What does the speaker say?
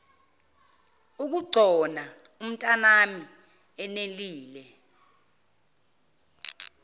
ukugcona umntanami nelile